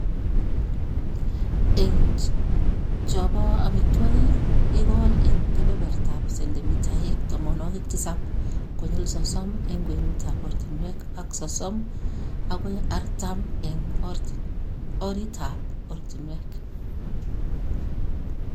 Eng' cho ba amitwogik, igol eng' kebebertap sendimitaik tamanwogik tisap konyil sosom eng' kwenutap ortinwek ak sosom agoi artam eng' oritap ortinwek.